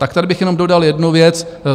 Tak tady bych jenom dodal jednu věc.